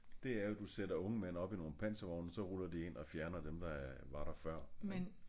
Det er jo du sætter unge mænd op i nogle panservogne og så ruller de ind og fjerner dem der var der før ik